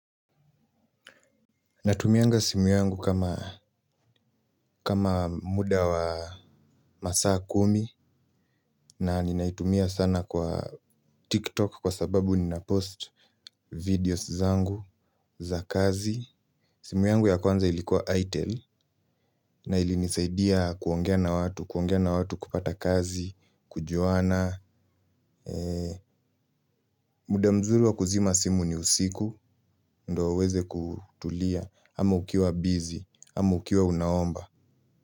Natumianga simu yangu kama muda wa masaa kumi na ninaitumia sana kwa TikTok kwa sababu ninapost videos zangu za kazi. Simu yangu ya kwanza ilikuwa ITEL na ilinisaidia kuongea na watu, kuongea na watu kupata kazi, kujuana. Muda mzuri wa kuzima simu ni usiku, ndo uweze kutulia, ama ukiwa bizi, ama ukiwa unaomba.